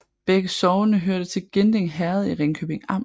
Begge sogne hørte til Ginding Herred i Ringkøbing Amt